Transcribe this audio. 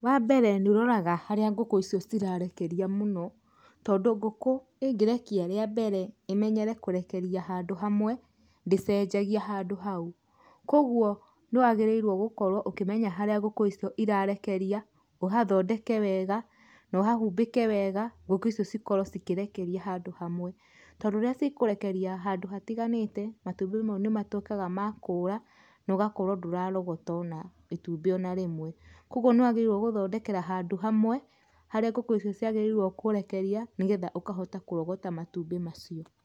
Wa mbere nĩ ũroraga harĩa ngũkũ icio cirarekeria mũno, tondũ ngũkũ ĩngĩrekia rĩa mbere, imenyere kũrekeria handũ hamwe, ndĩ cenjagia handũ hau. Kogwo, nĩ wagĩrĩirwo gũkorwo ũkĩmenya harĩa ngũkũ icio irarekeria, ũhathondeke wega, na ũhahumbĩke wega, ngũkũ icio cikorwo cikĩrekeria handũ hamwe. Tondũ rĩrĩa cikũrekeria handũ hatiganĩte, matumbĩ mau nĩ matwĩkaga ma kũra, na ũgakorwo ndũrarogota ona itumbĩ ona rĩmwe. Kogwo nĩ wagĩrĩirwo gũthondekera handũ hamwe, harĩa ngũkũ icio cĩagĩrĩirwo kũrekeria, nĩgetha ũkahota kũrogota matumbĩ macio.